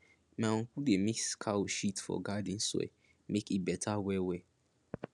my uncle dey mix cow shit for garden soil make e better wellwell